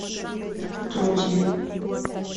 отродье